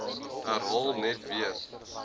herhaal net weer